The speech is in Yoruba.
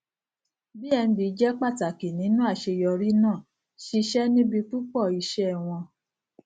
bnb je pàtàkì nínú àṣeyọrí náà ṣisẹ níbi púpọ iṣẹ won